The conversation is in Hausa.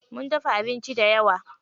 Mun dafa abinci dayawa.